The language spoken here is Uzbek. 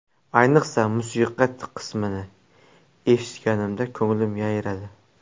Ayniqsa, musiqa qismini eshitganimda ko‘nglim yayradi.